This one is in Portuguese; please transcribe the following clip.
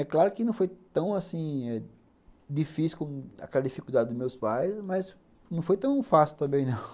É claro que não foi tão, assim eh difícil como aquela dificuldade dos meus pais, mas não foi tão fácil também, não